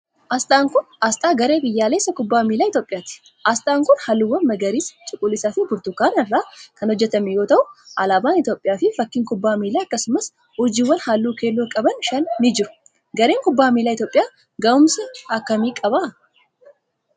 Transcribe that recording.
Asxaan kun, asxaa garee biyyaalessa kubbaa miilaa Itoophiyaati. Asxaan kun, haalluuwwan magariisa, cuquliisa fi burtukaana irraa kan hojjatame yoo ta'u, alaabaan Itoophiyaa fi fakkiin kubbaa miilaa akkasumas urjiiwwan haalluu keelloo qaban shan ni jiru. Gareen kubbaa miilaa Itoophiyaa gahuumsa akka kamii qaba?